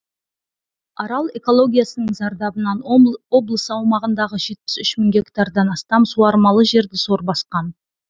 арал экологиясының зардабынан облыс аумағындағы жетпіс үш мың гектардан астам суармалы жерді сор басқан